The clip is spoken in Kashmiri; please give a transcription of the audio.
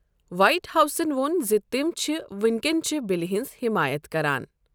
وائٹ ہاؤسَن ووٚن زِ تِم چھِ وینکٮ۪نچہِ بِلہِ ہٕنٛز حِمایت کران۔